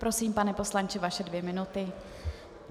Prosím, pane poslanče, vaše dvě minuty.